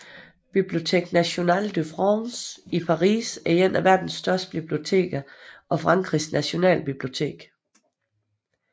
Bibliothèque nationale de France i Paris er et af verden største biblioteker og Frankrigs nationalbibliotek